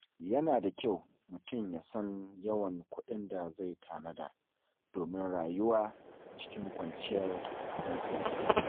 Yana da kyau mutum ya san yawan kuɗin da zai tanada domin rayuwa cikin kwanciyar hankali.